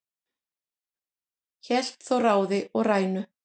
hélt þó ráði og rænu